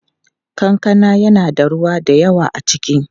Kankana yana da ruwa da yawa a ciki.